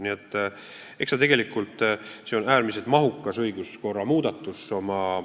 Nii et eks see tegelikult ole äärmiselt mahukas õiguskorra muudatus.